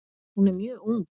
Hún er mjög ung.